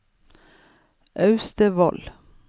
Austevoll